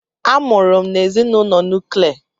A mụrụ m n'ezinụlọ nuklia.